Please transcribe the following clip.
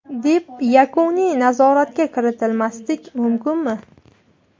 deb yakuniy nazoratga kiritmaslik mumkinmi?.